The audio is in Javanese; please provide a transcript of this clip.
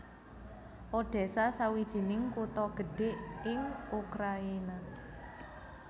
Odésa sawijining kutha gedhé ing Ukrayina